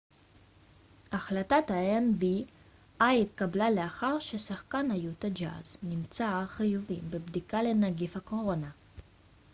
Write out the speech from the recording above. החלטת האן.בי.איי התקבלה לאחר ששחקן היוטה ג'אז נמצאר חיובי בבדיקה לנגיף הקורונה